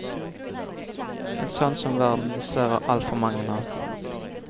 En sånn som verden dessverre har altfor mange av.